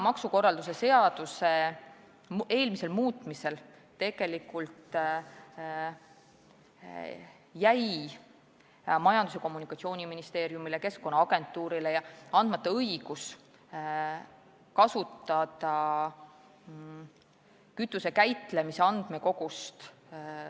Maksukorralduse seaduse eelmisel muutmisel jäi Majandus- ja Kommunikatsiooniministeeriumile ning Keskkonnaagentuurile andmata õigus kasutada infot kütuse käitlemise andmekogust.